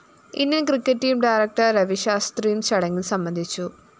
Indian‍ cricket team director രവിശാസ്ത്രിയും ചടങ്ങില്‍ സംബന്ധിച്ചു